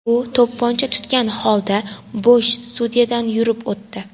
U to‘pponcha tutgan holda bo‘sh studiyadan yurib o‘tdi.